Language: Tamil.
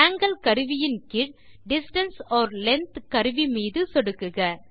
ஆங்கில் கருவியின் கீழ் டிஸ்டன்ஸ் ஒர் லெங்த் கருவி மீது சொடுக்குக